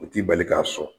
U t'i bali k'a sɔn